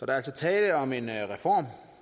er altså tale om en reform